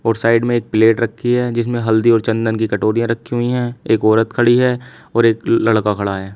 और साइड में एक प्लेट रखी है जिसमें हल्दी और चंदन की कटोरियां रखी हुई हैं एक औरत खड़ी है और एक लड़का खड़ा है।